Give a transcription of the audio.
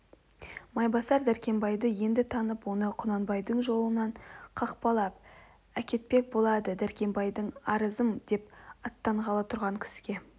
майбасар дәркембайды енді танып оны құнанбайдың жолынан қақпалап әкетпек болды дәркембаймысың арызым деп аттанғалы тұрған кісге